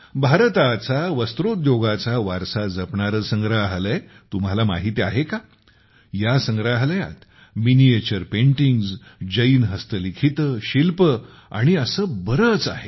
भारताचा वस्त्रोद्योगाचा वारसा जपणारे संग्रहालय तुम्हाला माहीत आहे का या संग्रहालयात मिनिएचर पेंटिंग्ज जैन हस्तलिखिते शिल्पे आणि असे बरेच काही आहे